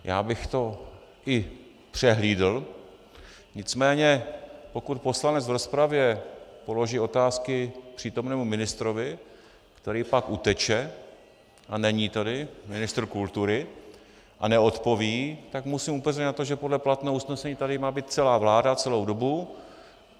Já bych to i přehlídl, nicméně pokud poslanec v rozpravě položí otázky přítomnému ministrovi, který pak uteče a není tady, ministr kultury, a neodpoví, tak musím upozornit na to, že podle platného usnesení tady má být celá vláda celou dobu.